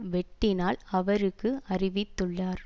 வெட்டினால் அவருக்கு அறிவித்துள்ளார்